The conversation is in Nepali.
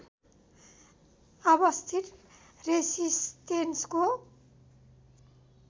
अवस्थित रेसिस्टेन्सको